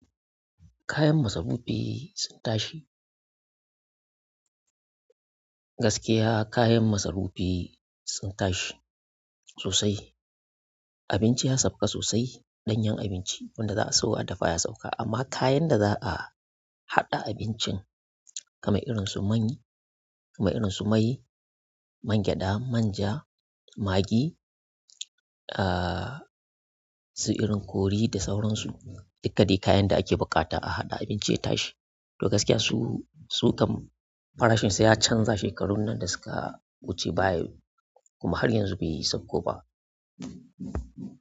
Kayan masarufi sun tashi. Gaskiya kayan masarufi sun tashi sosai. Abinci ya sauka sosai ɗanyen abinci wanda za a suwo a dafa ya sauka amma kayan da za a haɗa abincin kamar irin su mai irin su mai, mangyaɗa, manja, magi, su irin kori da sauran su dikkadai kayan da ake buƙata a haɗa abinci ya tashi. To gaskiya su su kam farashin sa ya canza shekarun nan da suka wuce kuma har yanzu bai sakko ba.